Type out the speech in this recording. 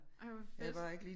Ej hvor fedt